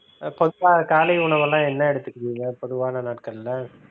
பொதுவா காலை உணவெல்லாம் என்ன எடுத்துக்குவீங்க பொதுவான நாட்கள்ல?